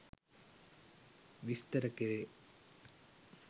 විස්තර කෙරේ